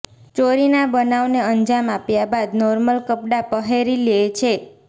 ચોરીના બનાવને અંજામ આપ્યા બાદ નોર્મલ કપડાં પહેરી લે છે